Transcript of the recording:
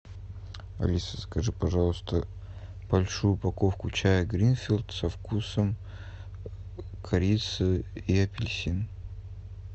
алиса закажи пожалуйста большую упаковку чая гринфилд со вкусом корицы и апельсина